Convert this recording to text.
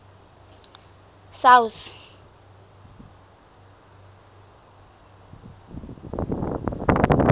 south